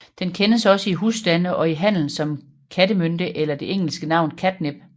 Den kendes også i husstande og i handel som kattemynte eller det engelske navn catnip